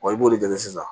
Wa i b'o de lajɛ sisan